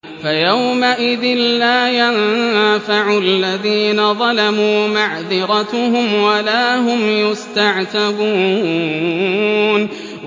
فَيَوْمَئِذٍ لَّا يَنفَعُ الَّذِينَ ظَلَمُوا مَعْذِرَتُهُمْ وَلَا هُمْ يُسْتَعْتَبُونَ